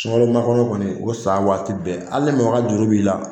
Sunkalo makɔnɔ kɔni o san waati ni mɔgɔ ka juru b'i la